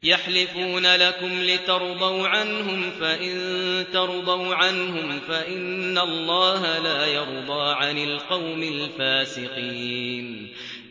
يَحْلِفُونَ لَكُمْ لِتَرْضَوْا عَنْهُمْ ۖ فَإِن تَرْضَوْا عَنْهُمْ فَإِنَّ اللَّهَ لَا يَرْضَىٰ عَنِ الْقَوْمِ الْفَاسِقِينَ